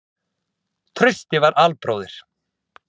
Trausti var albróðir